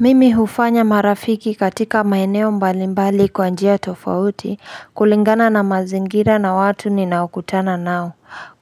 Mimi hufanya marafiki katika maeneo mbalimbali kwa njia tofauti kulingana na mazingira na watu ninaokutana nao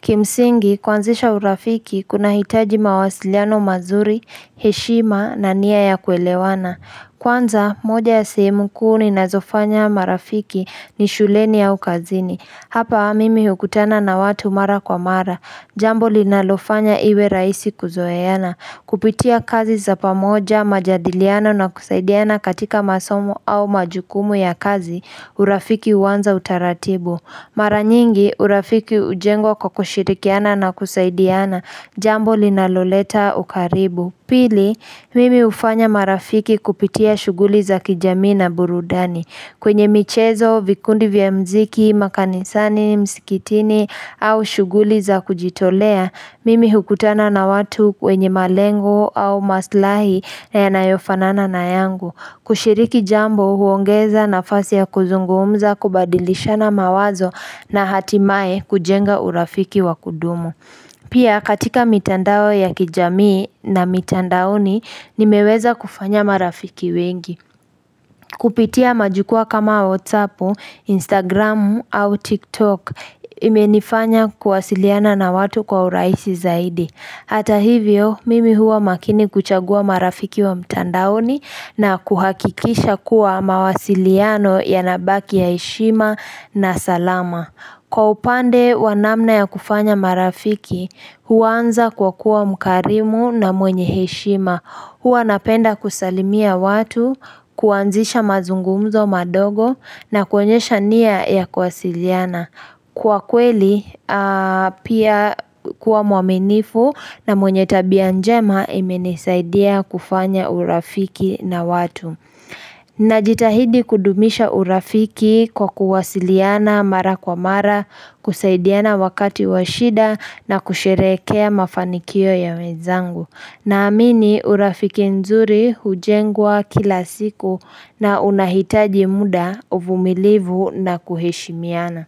Kimsingi kwanzisha urafiki kuna hitaji mawasiliano mazuri, heshima na nia ya kuelewana Kwanza moja ya sehemu kuu ninazofanya marafiki ni shuleni au kazini Hapa mimi hukutana na watu mara kwa mara Jambo linalofanya iwe rahisi kuzoeyana Kupitia kazi za pamoja majadiliano na kusaidiana katika masomo au majukumu ya kazi urafiki uwanza utaratibu Maranyingi urafiki ujengwa kwa kushirikiana na kusaidiana jambo linaloleta ukaribu Pili, mimi ufanya marafiki kupitia shuguli za kijamii na burudani kwenye michezo, vikundi vya mziki, makanisani, msikitini au shuguli za kujitolea Mimi hukutana na watu wenye malengo au maslahi na yanayofanana na yangu kushiriki jambo huongeza nafasi ya kuzungumza kubadilishana mawazo na hatimae kujenga urafiki wa kudumu Pia katika mitandao ya kijamii na mitandaoni nimeweza kufanya marafiki wengi Kupitia majukua kama WhatsAppu, Instagramu, au TikTok, imenifanya kuwasiliana na watu kwa urahisi zaidi. Hata hivyo, mimi huwa makini kuchagua marafiki wa mtandaoni na kuhakikisha kuwa mawasiliano yanabaki heshima na salama. Kwa upande wa namna ya kufanya marafiki, huwanza kwa kuwa mkarimu na mwenye heshima. Hua napenda kusalimia watu, kuanzisha mazungumzo madogo na koenyesha niya ya kwasiliana. Kwa kweli, pia kuwa mwaminifu na mwenye tabia njema imeni saidia kufanya urafiki na watu. Najitahidi kudumisha urafiki kwa kwasiliana mara kwa mara, kusaidiana wakati wa shida na kusherehekea mafanikio ya wenzangu. Naamini urafiki nzuri hujengwa kila siku na unahitaji muda uvumilivu na kuheshimiana.